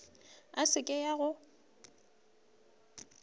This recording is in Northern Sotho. e se ke ya go